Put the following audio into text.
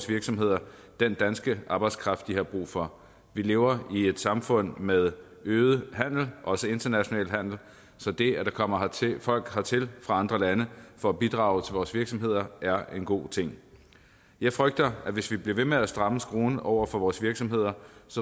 virksomheder den danske arbejdskraft de har brug for vi lever i et samfund med øget handel også international handel så det at der kommer folk hertil fra andre lande for at bidrage til vores virksomheder er en god ting jeg frygter at hvis vi bliver ved med at stramme skruen over for vores virksomheder